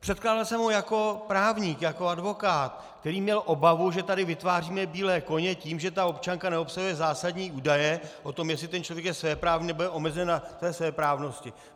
Předkládal jsem ho jako právník, jako advokát, který měl obavu, že tady vytváříme bílé koně tím, že ta občanka neobsahuje zásadní údaje o tom, jestli ten člověk je svéprávný, nebo je omezen na té svéprávnosti.